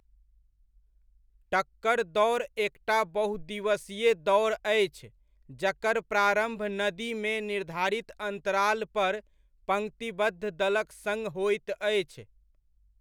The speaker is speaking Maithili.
टक्कर दौड़ एकटा बहु दिवसीय दौड़ अछि जकर प्रारम्भ नदीमे निर्धारित अन्तराल पर पंक्तिबद्ध दलक सङ्ग होइत अछि।